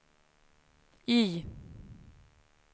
Y